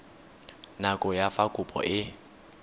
nako ya fa kopo e